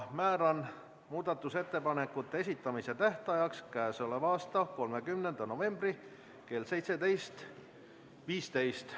Määran muudatusettepanekute esitamise tähtajaks k.a 30. novembri kell 17.15.